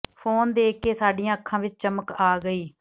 phone ਦੇਖ ਕੇ ਸਾਡੀਆਂ ਅੱਖਾਂ ਵਿੱਚ ਚਮਕ ਆ ਗਈ